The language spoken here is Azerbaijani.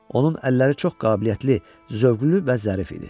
Onun əlləri çox qabiliyyətli, zövqlü və zərif idi.